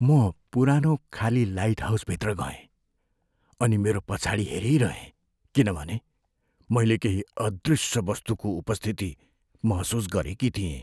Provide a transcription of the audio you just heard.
म पुरानो खाली लाइटहाउसभित्र गएँ, अनि मेरो पछाडि हेरिरहेँ किनभने मैले केही अदृश्य वस्तुको उपस्थिति महसुस गरेकी थिएँ।